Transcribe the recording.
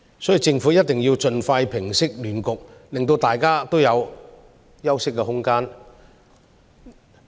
所以，政府一定要盡快平息亂局，令大家有休息的空間。